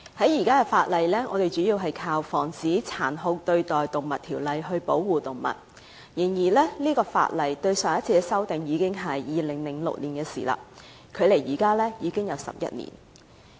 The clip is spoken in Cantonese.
現時我們主要靠《防止殘酷對待動物條例》來保護動物。但上一次修訂這項法例已經是2006年的事，距離現在已經11年。